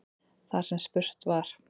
Þar sem spurt var